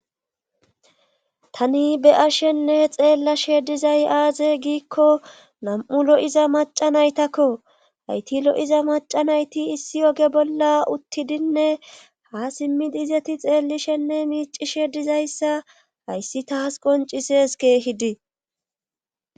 tani beyashenne xeellashe dizay aaze giikko nam7u lo7iza maca naytakko hayti lo7iza macanayti issi oge bolla uttidinne ha simmidizeti xeellishenne miici she dizayssa hayssi taas qoncises keehidi